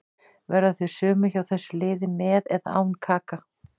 Verða þau sömu hjá þessu liði með eða án Kaka.